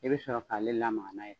I bɛ sɔrɔ k'ale lamaga n'a ye.